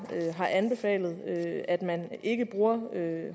anbefalet at man ikke bruger